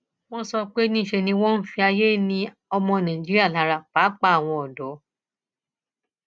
wọn sọ pé níṣe ni wọn ń fayé ni ọmọ nàìjíríà lára pàápàá àwọn ọdọ